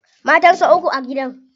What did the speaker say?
Matan sa uku a gidan.